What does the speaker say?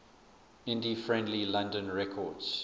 indie friendly london records